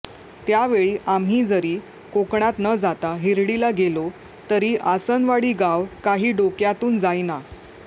त्यावेळी आम्ही जरी कोकणात न जाता हिरडीला गेलो तरी आसनवडी गाव काही डोक्यातून जाईना